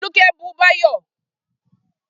Folúkẹ́ bú Báyọ̀